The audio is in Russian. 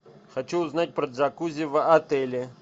хочу узнать про джакузи в отеле